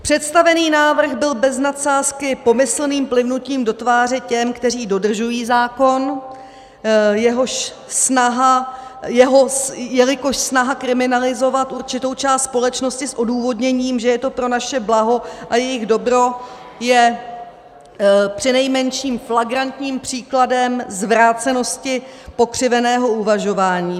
Představený návrh byl bez nadsázky pomyslným plivnutím do tváře těm, kteří dodržují zákon, jelikož snaha kriminalizovat určitou část společnosti s odůvodněním, že je to pro naše blaho a jejich dobro, je přinejmenším flagrantním příkladem zvrácenosti pokřiveného uvažování.